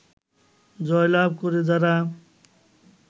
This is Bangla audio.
জয়লাভ করে যারা